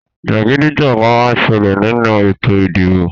Jàgídíjàgán má ń ṣẹlẹ̀ nínú ètò ìdìbò